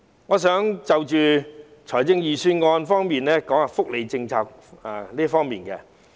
我想談談預算案中有關福利的政策。